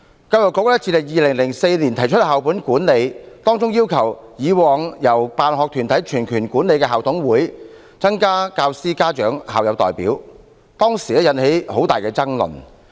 教育局自2004年提出校本管理，要求以往由辦學團體全權管理的校董會，增加教師、家長和校友代表，當時引起很大爭論。